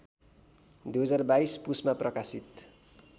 २०२२ पुसमा प्रकाशित